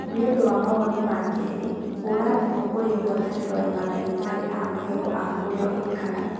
nĩ ũndũ wa mawoni ma kerĩ, hũra thimũ kũrĩ ngwatanĩro ya mandagĩtarĩ a magego a kũrĩa ũikaraga.